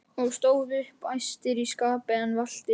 og stóðu upp æstir í skapi en valtir.